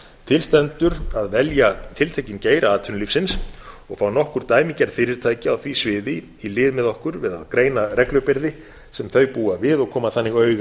til stendur að velja tiltekinn geira atvinnulífsins og fá nokkur dæmigerð fyrirtæki á því sviði í lið með okkur við að greina reglubyrði sem þau búa við og koma þannig auga